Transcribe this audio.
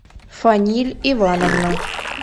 фаниль ивановна